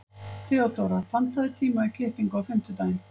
Theodóra, pantaðu tíma í klippingu á fimmtudaginn.